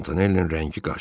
Mantonellinin rəngi qaçdı.